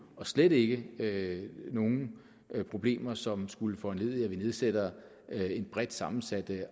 og slet ikke nogen problemer som skulle foranledige at vi nedsætter en bredt sammensat